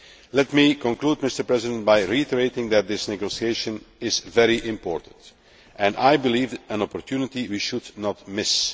Let me conclude by reiterating that this negotiation is very important and, I believe, an opportunity we should not miss.